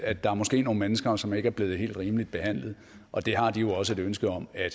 at der måske er nogle mennesker som ikke er blevet helt rimelig behandlet og det har de også et ønske om at